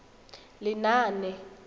lenaane